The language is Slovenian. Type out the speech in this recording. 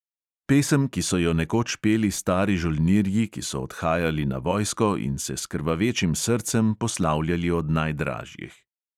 Pesem, ki so jo nekoč peli stari žolnirji, ki so odhajali na vojsko in se s krvavečim srcem poslavljali od najdražjih.